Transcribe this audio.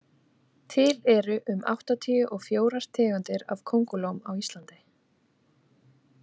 Til eru um áttatíu og fjórir tegundir af kóngulóm á Íslandi.